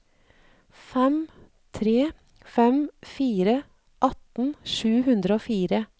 fem tre fem fire atten sju hundre og fire